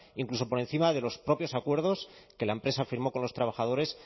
incluso por encima de los propios acuerdos que la empresa firmó con los trabajadores